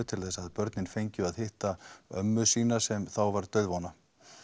til þess að börnin fengju að hitta ömmu sína sem þá var dauðvona